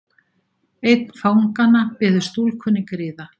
Einn fanganna biður stúlkunni griða.